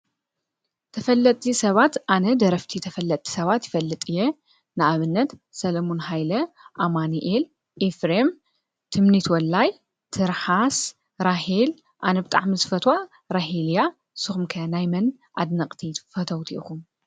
ተፈለቲ ሰባት ኣነ ደረፍቲ ተፈለቲ ሰባት ይፈልጥ እየ ንኣብነት ሰሎሞን ሃይለ ኣማኒኤል ኢፍሬም ትምኒት ወላይ ትርሓስ ራሄል ኣነብጣሕ ምስ ፈታ ራሄልያ ስኹምከ ናይመን ኣድነቕቲ ፈተውት ኢኹ